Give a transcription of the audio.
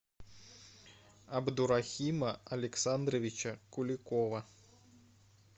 абдурахима александровича куликова